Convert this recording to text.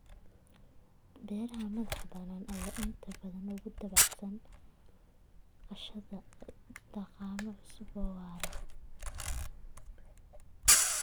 Beeraha madax-bannaan ayaa inta badan aad ugu dabacsan qaadashada dhaqammo cusub oo waara.